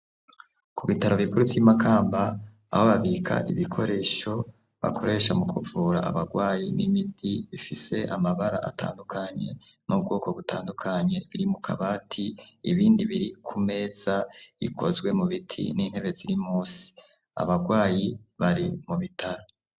Ku bitaro bikuru vy'imakamba, aho babika ibikoresho bakoresha mu kuvura abarwayi n'imiti ifise amabara atandukanye n'ubwoko butandukanye iri mu kabati, ibindi biri ku meza ikozwe mu biti n'intebe ziri munsi. Abarwayi bari mu bitaro.